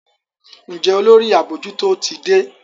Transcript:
Njé Olórí abojuto tí dé?